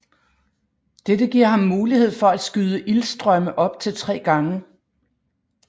Dette giver ham mulighed for at skyde ildstrømme op til tre gange